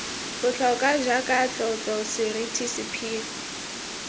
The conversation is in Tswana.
botlhokwa jaaka tlotlo seriti sephiri